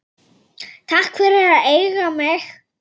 Takk fyrir að eiga mig.